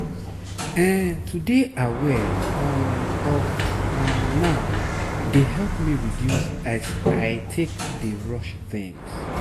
ehn to dey aware um of um now dey help me reduce as i take dey rush thuings